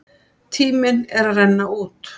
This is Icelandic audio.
Tíminn er að renna út!